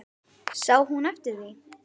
Sá hún eftir því?